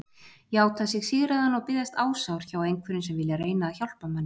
Játa sig sigraðan og biðjast ásjár hjá einhverjum sem vilja reyna að hjálpa manni.